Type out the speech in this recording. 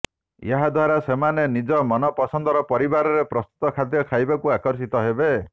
ଏହାଦ୍ୱାରା ସେମାନେ ନିଜ ମନ ପସନ୍ଦର ପରିବାରେ ପ୍ରସ୍ତୁତ ଖାଦ୍ୟ ଖାଇବାକୁ ଆକର୍ଷିତ ହେବେ